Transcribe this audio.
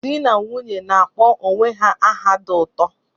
Di na nwunye na-akpọ onwe ha aha dị ụtọ